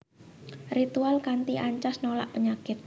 Ritual kanthi ancas nolak penyakit